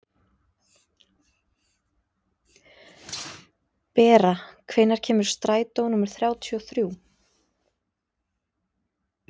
Bera, hvenær kemur strætó númer þrjátíu og þrjú?